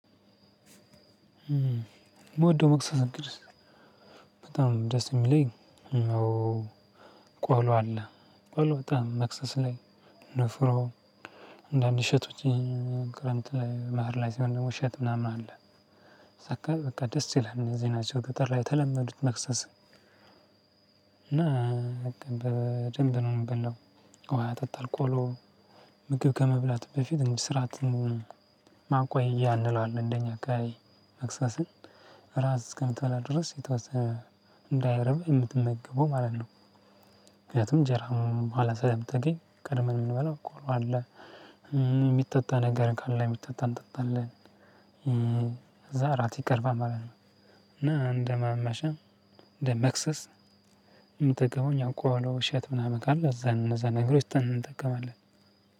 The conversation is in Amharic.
የምወደው መክሰስ እንግዲ። በጣም ደስ የሚለኝ ያው ቆሎ አለ ቆሎ በጣም መክሰስ ላይ ንፍሮ አንድ አንድ እሸቶች ክረምት ላይ ባህር ላይ ሲሆን ደግሞ እሸት ምናምን አለ። ሲካል በቃ ደስ ይላል እነዚህ ናቸው ገጠር ላይ የተለመዱት መክሰስ። እና በደንብ ነው የምበላው። ውሃ እጠጣለው ቆሎ ምግብ ከመብላት በፊት እንዲ ስራትን ማቆያ እንለዋለን። እንደኛ አከባቢ መክሰስን እራት እስከምትበላ ድረስ የተወሰነ እንዳይረብህ የምትመገበው ማለት ነው። ምክንያቱም እንጀራም በኋላ ስለምታገኝ ቀድመን ምንበላው ቆሎ አለ። የሚጠጣ ነገር ካለ የሚጠጣ እንጠጣለን። እዛ እራት ይቀርባል ማለት ነው። እና እንደማመሸም እንደመክሰስ የምጠቀመው እኛ ቆሎ ነው እሸት ምናምን ካለ እዛን እነዛን ነገሮች ትተን እንጠቀማለን።